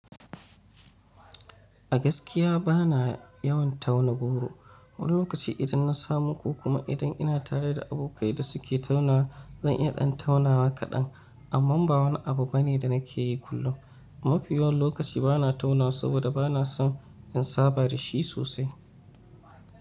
A gaskiya ba na yawan tauna goro. Wani lokaci idan na samu ko kuma idan ina tare da abokai da suke taunawa zan iya ɗan taunawa kaɗan, amma ba wani abu bane da nake yi kullum. Mafiya yawan lokaci ba na taunawa saboda ba na son in saba da shi sosai.